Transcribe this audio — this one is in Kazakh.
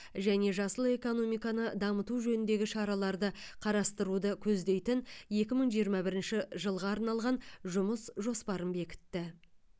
және жасыл экономиканы дамыту жөніндегі шараларды қарастыруды көздейтін екі мың жиырма бірінші жылға арналған жұмыс жоспарын бекітті